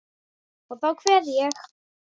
Og þá kveð ég.